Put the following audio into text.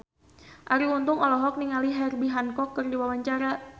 Arie Untung olohok ningali Herbie Hancock keur diwawancara